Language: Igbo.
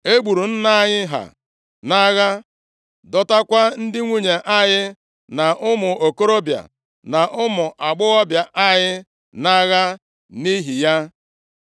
E gburu nna anyị ha nʼagha, dọtakwa ndị nwunye anyị na ụmụ okorobịa na ụmụ agbọghọbịa anyị nʼagha nʼihi ya.